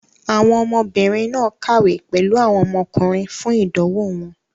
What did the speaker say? Àwọn ọmọbìnrin náà kàwé pẹ̀lú àwọn ọmọkùnrin fún ìdánwò wọn.